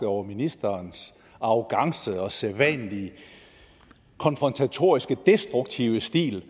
over ministerens arrogance og sædvanlige konfrontatoriske destruktive stil